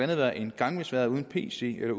være en gangbesværet uden pc eller